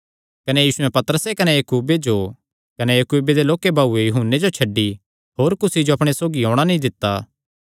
कने यीशुयैं पतरसे कने याकूबे जो कने याकूबे दे लोक्के भाऊये यूहन्ने जो छड्डी होर कुसी जो अपणे सौगी औणां नीं दित्ता